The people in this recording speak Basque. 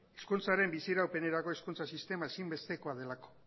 hizkuntzaren bizi iraupenerako hezkuntza sistema ezinbestekoa delako